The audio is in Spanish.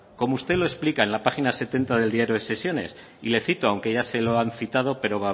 como usted lo explica en la página setenta del diario de sesiones y le cito aunque ya se lo han citado pero